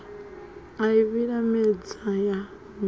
a i vhilimedza ya humela